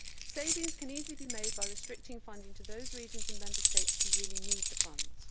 Savings can easily be made by restricting funding to those regions and Member States which really need the funds.